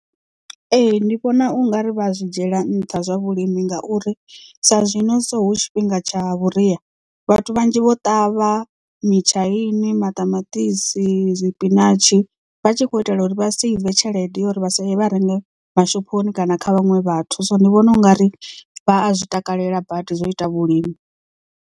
Ee ndi vhona ungari vha zwi dzhiela nṱha zwa vhulimi ngauri sa zwino so hu tshifhinga tsha vhuria vhathu vhanzhi vho ṱavha mitshaini, maṱamaṱisi zwipinashi vha tshi khou itela uri vha drive tshelede uri vha si e vha renga mashophoni kana kha vhaṅwe vhathu so ndi vhona u nga ri vha a zwi takalela badi zwo ita vhulimi.